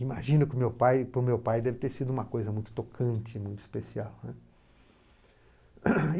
Imagino que o meu pai, para o meu pai deve ter sido uma coisa muito tocante, muito especial, né.